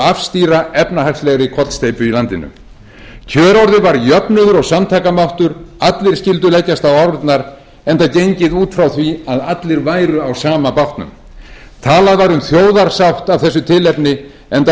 afstýra efnahagslegri kollsteypu í landinu kjörorðið var jöfnuður og samtakamáttur allir skyldu leggjast á árarnar enda gengið út frá því að allir væru á sama bátnum talað var um þjóðarsátt af þessu tilefni enda